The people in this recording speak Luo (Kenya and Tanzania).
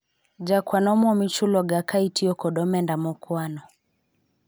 jakawan omwom ichulo ga ka itiyo kod omenda okwano